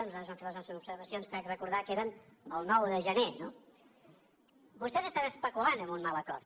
nosaltres vam fer les nostres observacions crec recordar que era el nou de gener no vostès estan especulant amb un mal acord